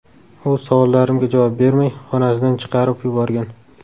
U savollarimga javob bermay, xonasidan chiqarib yuborgan.